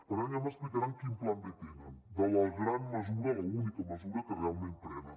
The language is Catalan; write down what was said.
per tant ja m’explicaran quin pla b tenen de la gran mesura l’única mesura que realment prenen